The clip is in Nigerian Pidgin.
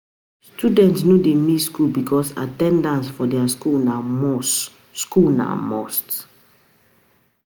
Students no de miss school because at ten dance for their school na must, school na must